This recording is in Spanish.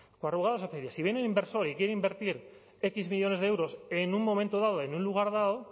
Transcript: corrugados azpeitia si viene el inversor y quiere invertir equis millónes de euros en un momento dado en un lugar dado